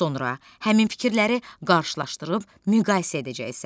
Sonra həmin fikirləri qarşılaşdırıb müqayisə edəcəksən.